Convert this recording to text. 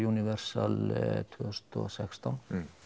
Universal tvö þúsund og sextán